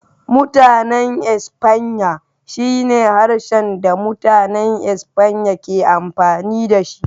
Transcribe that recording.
Mutanen Espanya shine harshen da Mutanen Espanya ke amfani da shi.